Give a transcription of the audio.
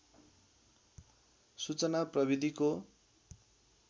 सूचना प्रविधिको